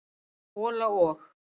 hola og.